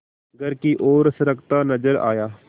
घर की ओर सरकता नजर आया